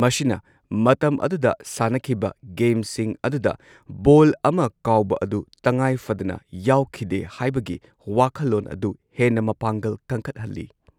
ꯃꯁꯤꯅ ꯃꯇꯝ ꯑꯗꯨꯗ ꯁꯥꯟꯅꯈꯤꯕ ꯒꯦꯝꯁꯤꯡ ꯑꯗꯨꯗ ꯕꯣꯜ ꯑꯃ ꯀꯥꯎꯕ ꯑꯗꯨ ꯇꯉꯥꯏꯐꯗꯅ ꯌꯥꯎꯈꯤꯗꯦ ꯍꯥꯏꯕꯒꯤ ꯋꯥꯈꯜꯂꯣꯟ ꯑꯗꯨ ꯍꯦꯟꯅ ꯃꯄꯥꯡꯒꯜ ꯀꯟꯈꯠꯍꯜꯂꯤ꯫